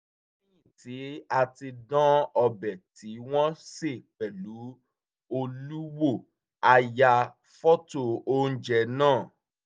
lẹ́yìn ti a ti dán ọbẹ̀ tí wọ́n sè pẹ̀lú olú wò a ya fọ́tò oúnjẹ náà